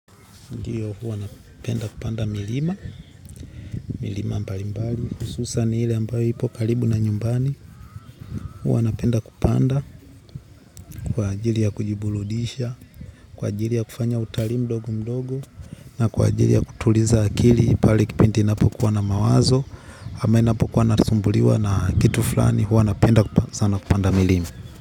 Ndiyo huwa napenda kupanda milima, milima mbalimbali, hususan ile ambayo ipo kalibu na nyumbani. Huwa napenda kupanda kwa ajili ya kujiburudisha, kwa ajili ya kufanya utalii mdogo mdogo, na kwa ajili ya kutuliza akili pale kipindi inapo kuwa na mawazo, ama inapo kuwa nasumbuliwa na kitu flani huwa napenda sana kupanda milima.